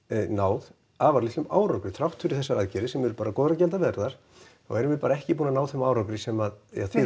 náð afar litlum árangri þrátt fyrir þessar aðgerðir sem eru bara góðar og gildar erfiðar þá höfum við bara ekki náð þeim árangri sem ja þið